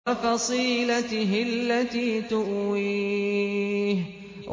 وَفَصِيلَتِهِ الَّتِي تُؤْوِيهِ